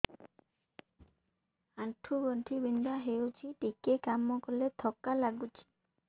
ଆଣ୍ଠୁ ଗଣ୍ଠି ବିନ୍ଧା ହେଉଛି ଟିକେ କାମ କଲେ ଥକ୍କା ଲାଗୁଚି